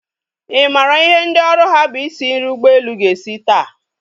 Ị maara ihe ndị oru ha bụ isi nri ụgbọelu ga-esi taa?